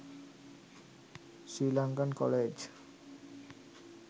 sri lankan college